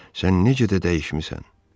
Sən necə də dəyişmisən?